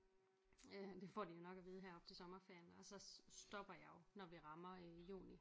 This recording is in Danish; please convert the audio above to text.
Øh det får de jo nok at vide her op til sommerferien og så stopper jeg jo når vi rammer øh juni